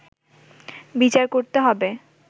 বিচার করতে হবে”